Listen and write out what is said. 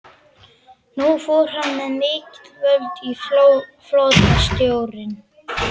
Nú fór hann með mikil völd í flotastjórninni.